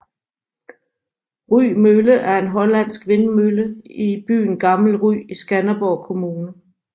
Rye Mølle er en hollandsk vindmølle i byen Gammel Rye i Skanderborg Kommune